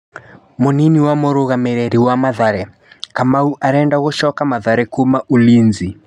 Mũnini wa mũrũgamĩriri wa Mathare: Kamau arenda gũcoka Mathare kuma Ulinzi.